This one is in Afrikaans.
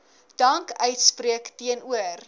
dank uitspreek teenoor